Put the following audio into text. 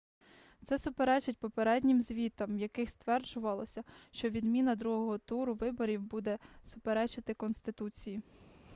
це суперечить попереднім звітам в яких стверджувалось що відміна другого туру виборів буде суперечити конституції